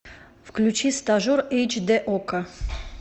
включи стажер эйч дэ окко